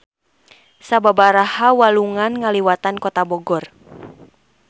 Sababaraha walungan ngaliwatan Kota Bogor.